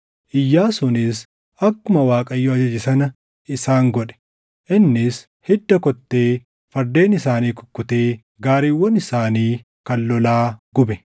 Iyyaasuunis akkuma Waaqayyo ajaje sana isaan godhe; innis hidda kottee fardeen isaanii kukkutee gaariiwwan isaanii kan lolaa gube.